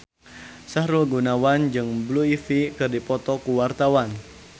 Sahrul Gunawan jeung Blue Ivy keur dipoto ku wartawan